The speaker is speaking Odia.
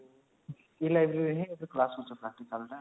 e- library ରେ ହିଁ